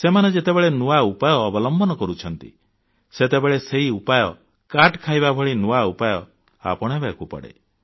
ସେମାନେ ଯେତେବେଳେ ନୂଆ ଉପାୟ ଅବଲମ୍ବନ କରୁଛନ୍ତି ସେତେବେଳେ ସେହି ଉପାୟ କାଟ ଖାଇବା ଭଳି ନୂଆ ଉପାୟ ଆପଣେଇବାକୁ ପଡ଼େ